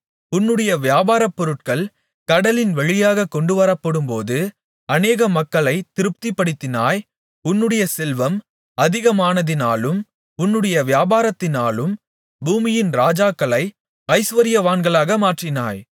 உன்னுடைய வியாபாரபொருட்கள் கடலின் வழியாகக் கொண்டுவரப்படும்போது அநேக மக்களைத் திருப்திபடுத்தினாய் உன்னுடைய செல்வம் அதிகமானதினாலும் உன்னுடைய வியாபாரத்தினாலும் பூமியின் ராஜாக்களை ஐசுவரியவான்களாக மாற்றினாய்